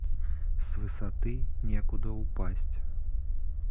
с высоты некуда упасть